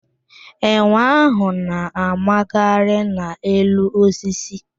Enwe ahụ na-a magharị n'elu osisi.